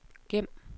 gem